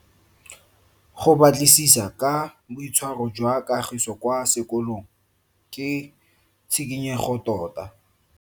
Go batlisisa ka boitshwaro jwa Kagiso kwa sekolong ke tshikinyego tota.